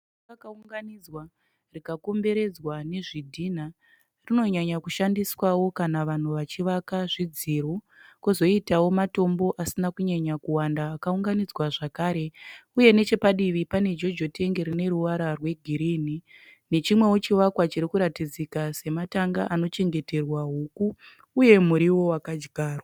Ivhu rakaunganidzwa rikakomberedzwa nezvidhinha. Rinonyanya kushandiswawo kana vanhu vachivaka zvidziro. Kozoitawo matombo asinawo kunyanyokuwanda akaunganidzwa zvakare. Uye neche padivi pane jojo tengi rine ruvara rwegirini nechimwewo chivakwa chiri kuratidzika sematanga anochengeterwa huku uye muriwo wakadyarwa.